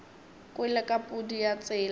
kwele ka pudi ya tsela